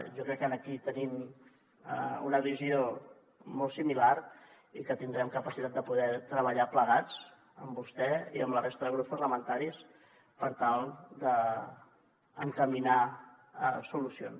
jo crec que aquí tenim una visió molt similar i que tindrem capacitat de poder treballar plegats amb vostè i amb la resta de grups parlamentaris per tal d’encaminar hi solucions